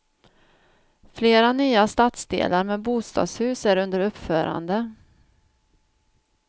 Flera nya stadsdelar med bostadshus är under uppförande.